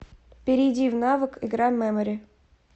перейди в навык игра мемори